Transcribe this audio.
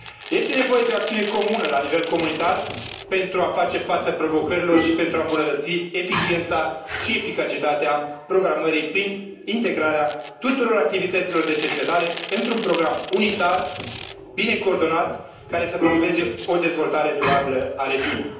Este nevoie de o acțiune comună la nivel comunitar, pentru a face față provocărilor și pentru a îmbunătăți eficiența și eficacitatea programării, prin integrarea tuturor activităților de cercetare într un program unitar, bine coordonat, care să promoveze o dezvoltare durabilă a regiunii.